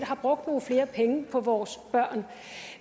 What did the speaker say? har brugt nogle flere penge på vores børn